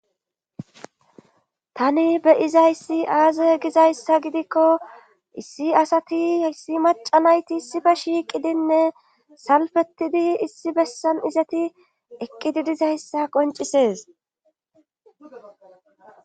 Tani be izayssi aaze gizayssa gidikko issi asati hayssi macanayti issibe shiiqidinne salfettidi issi bessan izati eqqi didizayssa qoncisees.